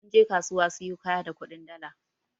Mun je kasuwa siyo kaya da kudin dala.